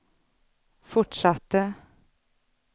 fortsatte